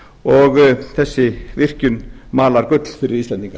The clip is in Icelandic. og þessi virkjun malar gull fyrir íslendinga